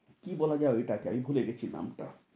কী বলা যায় ঐটাকে আমি ভুলে গেছি নামটা।